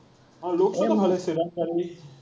অ, looks টো ভালেই